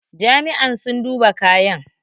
Jami'an sun duba kayan